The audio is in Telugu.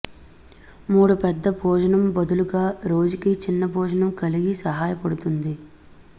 మూడు పెద్ద భోజనం బదులుగా రోజుకి చిన్న భోజనం కలిగి సహాయపడుతుంది